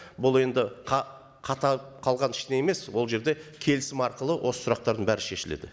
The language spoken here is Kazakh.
бұл енді қатайып қалған ештеңе емес ол жерде келісім арқылы осы сұрақтардың бәрі шешіледі